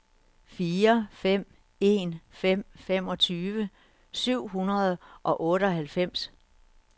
fire fem en fem femogtyve syv hundrede og otteoghalvfems